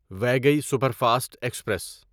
Vaigai superfast express